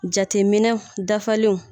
Jateminɛw dafalenw.